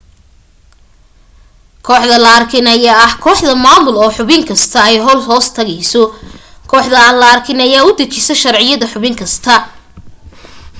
kooxda la arkin ayaa ah kooxda maamul oo xubin kasta ay hoostagto kooxda aan la arkin ayaa u dajisa sharciyada xubin kasta